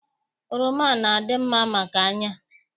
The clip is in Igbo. Oroma na- adị mma maka anya